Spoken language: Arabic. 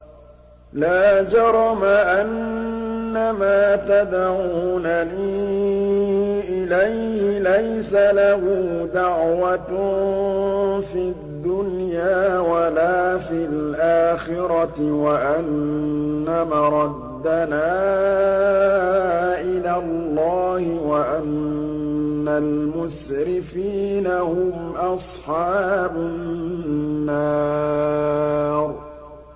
لَا جَرَمَ أَنَّمَا تَدْعُونَنِي إِلَيْهِ لَيْسَ لَهُ دَعْوَةٌ فِي الدُّنْيَا وَلَا فِي الْآخِرَةِ وَأَنَّ مَرَدَّنَا إِلَى اللَّهِ وَأَنَّ الْمُسْرِفِينَ هُمْ أَصْحَابُ النَّارِ